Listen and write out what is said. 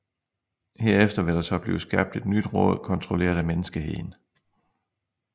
Herefter vil der så blive skabt et nyt råd kontrolleret af menneskeheden